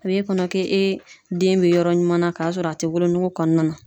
A b'e kɔnɔ k'e den be yɔrɔ ɲuman na ,ka sɔrɔ a te wolonuku kɔnɔna na.